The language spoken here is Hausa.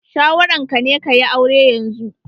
Shawaran ka ne ka yi aure yanzu?